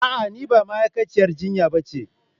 A'a ni ba ma'aikaciyar jinya ba ce